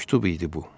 Məktub idi bu.